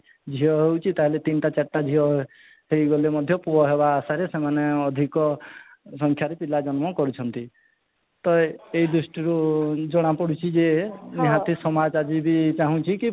ଝିଅ ହେଉଛି ତାହେଲେ ତିନିଟା ଚାରିଟା ଝିଅ ହେଉଛନ୍ତି ତା'ହେଲେ ସେମାନେ ପୁଅ ହେବା ଆଶାରେ ସେମାନେ ଅଧିକ ସଂଖ୍ୟାରେ ପିଲା ଜନ୍ମ କରୁଛନ୍ତି ତ ଏଇ ଦୃଷ୍ଟିରୁ ଜଣା ପଡୁଛି ଯେ ନିହାତି ସମାଜ ଆଜି ବି ଚାହୁଁଚି କି